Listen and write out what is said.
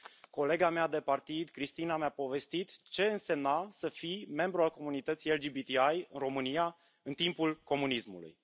Colega mea de partid, Cristina, mi a povestit ce însemna să fii membru al comunității LGBTI România, în timpul comunismului.